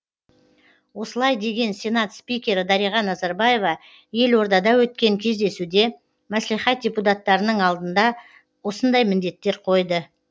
осылай деген сенат спикері дариға назарбаева елордада өткен кездесуде мәслихат депутаттарының алдында осындай міндеттер қойды